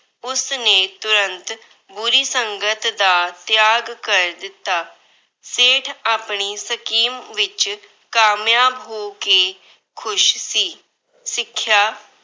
ਉਸਨੇ ਤੁਰੰਤ ਆਪਣੀ ਬੁਰੀ ਸੰਗਤ ਦਾ ਤਿਆਗ ਕਰ ਦਿੱਤਾ। ਸੇਠ ਆਪਣੀ scheme ਵਿੱਚ ਕਾਮਯਾਬ ਹੋ ਕੇ ਖੁਸ਼ ਸੀ। ਸਿੱਖਿਆ-